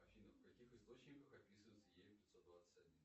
афина в каких источниках описывается е пятьсот двадцать один